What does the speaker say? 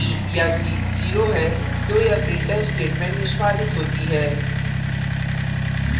यदि a b या c zero है तो यह printf statement निष्पादित होती है